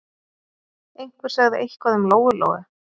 Einhver sagði eitthvað um Lóu-Lóu.